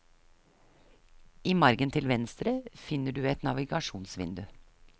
I margen til venstre finner du et navigasjonsvindu.